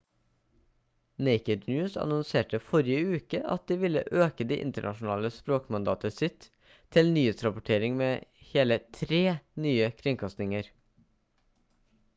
naked news annonserte forrige uke at de ville øke det internasjonale språkmandatet sitt til nyhetsrapportering med hele tre nye kringkastinger